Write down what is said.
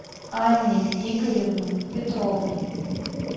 анне игоревне петровой